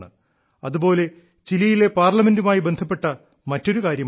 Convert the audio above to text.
അതുപോലെ ചിലിയിലെ പാർലമെന്റുമായി ബന്ധപ്പെട്ട മറ്റൊരു കാര്യമുണ്ട്